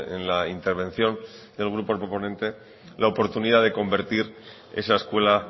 en la intervención del grupo proponente la oportunidad de convertir esa escuela